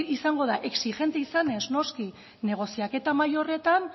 izango da exigente izanez noski negoziaketa mahai horretan